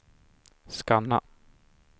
scanna